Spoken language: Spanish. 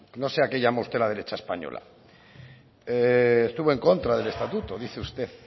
no sé llama usted la derecha española estuvo en contra del estatuto dice usted